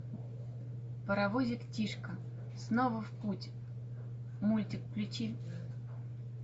паровозик тишка снова в путь мультик включи